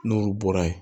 N'olu bɔra yen